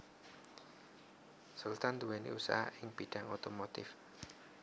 Sultan nduwèni usaha ing bidhang otomotif